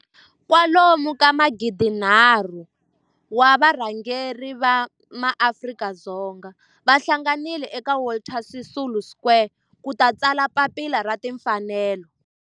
kwalomu ka magidi nharhu, 3 000 wa varhangeri va maAfrika-Dzonga va hlanganile eka Walter Sisulu Square ku ta tsala Papila ra Tinfanelo.